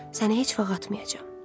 Səni heç vaxt atmayacam.